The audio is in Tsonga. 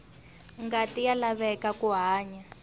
ngati ya laveka ku hanya